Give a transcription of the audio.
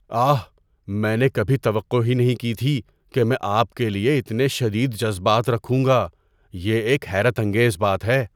آہ! میں نے کبھی توقع ہی نہیں کی تھی کہ میں آپ کے لیے اتنے شدید جذبات رکھوں گا۔ یہ ایک حیرت انگیز بات ہے۔